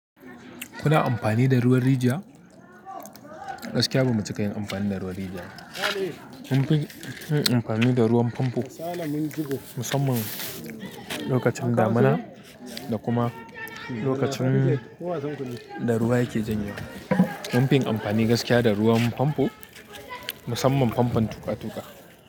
Kuna amfani da ruwan rijiya? Gaskiya bamu ci ka yin amfani da ruwan rijiya ba. Mun fi yin amfani da ruwan famfo musamman lokacin damuna da kuma lokacin da ruwa yake janyewa. Mun fi yin amfani gaskiya da ruwan famfo musamman famfon tuka tuka.